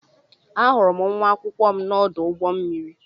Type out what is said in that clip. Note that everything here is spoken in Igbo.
Ahụrụ m nwa akwụkwọ m na-ọdụ ụgbọ mmiri.